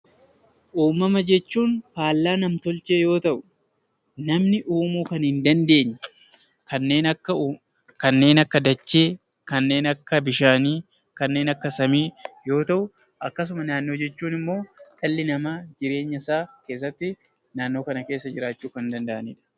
Uumamuma jechuun faallaa nam-tolchee yoo ta'u, namni uumuu kan hin dandeenye kanneen akka dachee kanneen akka bishaanii kanneen akka samii yoo ta'u, akkasuma naannoo jechuun immoo dhalli namaa jireenya isaa keessatti naannoo kana keessatti jiraachuu kan danda'anidha